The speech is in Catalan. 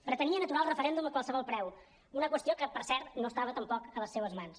pretenien aturar el referèndum a qualsevol preu una qüestió que per cert no estava tampoc a les seves mans